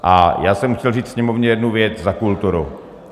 A já jsem chtěl říct Sněmovně jednu věc za kulturu.